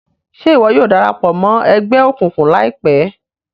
Ṣe iwọ yóò darapọ̀ mọ ẹgbẹ òkùnkùn laipẹ?